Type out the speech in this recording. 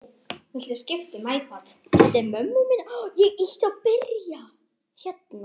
Þeir leita kannski hérna.